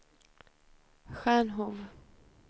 Stjärnhov